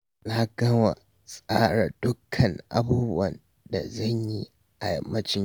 Na gama tsara dukkan abubuwan da zan yi a yammacin yau